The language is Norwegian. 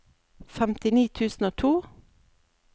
femtini tusen og to